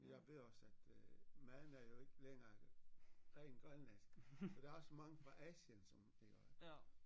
Jeg ved også at øh maden er jo ikke længere ren grønlandsk der er også mange fra Asien som iggå